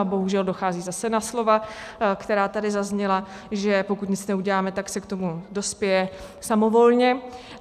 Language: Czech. A bohužel dochází zase na slova, která tady zazněla, že pokud nic neuděláme, tak se k tomu dospěje samovolně.